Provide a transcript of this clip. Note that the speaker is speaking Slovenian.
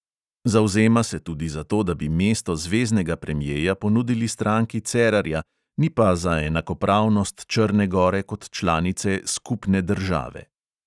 Zavzema se tudi za to, da bi mesto zveznega premjeja ponudili stranki cerarja, ni pa za enakopravnost črne gore kot članice "skupne države".